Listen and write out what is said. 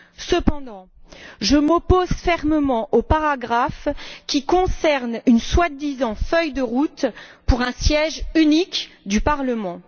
Cependant, je m'oppose fermement au paragraphe qui concerne une soi disant feuille de route pour un siège unique du Parlement.